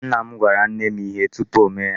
Nna m gwara nne m ihe tupu o mee ya.